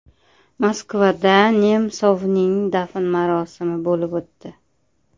Moskvada Nemsovning dafn marosimi bo‘lib o‘tdi.